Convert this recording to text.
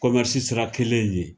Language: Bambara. kɔmɛrisi sira kelen in ye